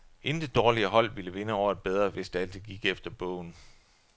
Intet dårligere hold ville vinde over et bedre, hvis det altid gik efter bogen.